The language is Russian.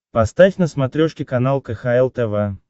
поставь на смотрешке канал кхл тв